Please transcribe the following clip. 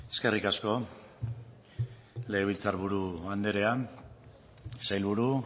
eskerrik asko legebiltzar buru andrea sailburu